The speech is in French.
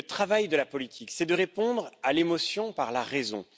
Mais le travail de la politique, c'est de répondre à l'émotion par la raison.